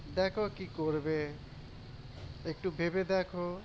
দেখো কি করবে একটু ভেবে দেখো